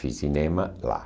Fiz cinema lá.